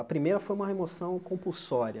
A primeira foi uma remoção compulsória.